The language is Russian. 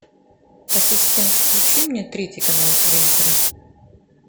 ассистент включи мне третий канал телевизора